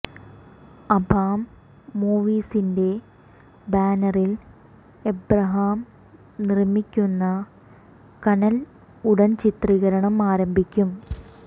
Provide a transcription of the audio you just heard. അബാം മൂവീസിന്റെ ബാനറിൽ ഏബ്രഹാം നിർമ്മിക്കുന്ന കനൽ ഉടൻ ചിത്രീകരണം ആരംഭിക്കും